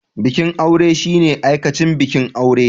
Bikin aure shine aikacen bikin aure.